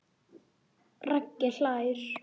Raggi hlær.